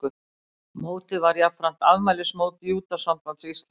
Mótið var jafnframt afmælismót Júdósambands Íslands